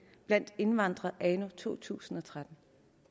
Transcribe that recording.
blandt indvandrere anno to tusind og tretten